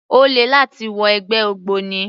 Ó le láti wọ ẹgbẹ́ ògbóni